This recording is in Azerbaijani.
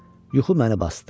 Yuxu məni basdı.